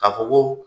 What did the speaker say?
K'a fɔ ko